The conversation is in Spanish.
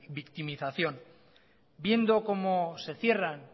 victimización viendo como se cierran